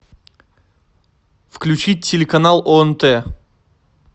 включить телеканал онт